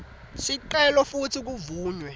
sicelo futsi kuvunywe